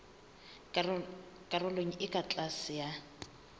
karolong e ka tlase ya